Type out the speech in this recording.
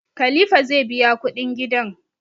Kalifa zai biya kudin gidan